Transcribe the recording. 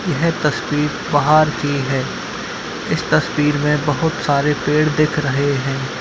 यह तस्वीर बाहर की है | इस तस्वीर में बहुत सारे पेड़ दिख रहे हैं।